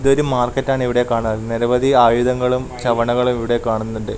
ഇതൊരു മാർക്കറ്റാണ് ഇവിടെ കാണാനുള്ളത് നിരവധി ആയുധങ്ങളും ചവണകളും ഇവിടെ കാണുന്നുണ്ട്.